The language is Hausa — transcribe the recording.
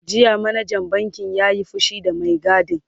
jiya manajan bankin ya Yi fushi da Mai gadin